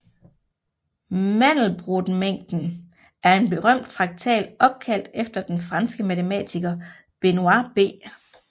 Mandelbrotmængden er en berømt fraktal opkaldt efter den franske matematiker Benoît B